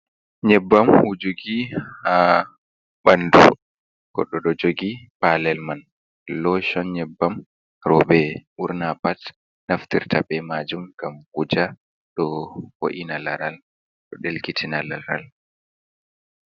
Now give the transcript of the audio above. Nyebbam wujoki ha ɓandu, goɗɗo ɗo jogi palel man loshon nyebbam roɓe ɓurna pat naftirta be majum, gam wuja ɗo voina laral ɗo ɗelkitina laral.